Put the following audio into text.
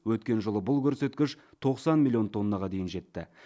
өткен жылы бұл көрсеткіш тоқсан миллион тоннаға дейін жетті